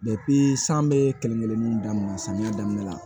san bɛ kelen kelen samiya daminɛ la